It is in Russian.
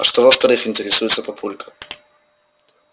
а что во-вторых интересуется папулька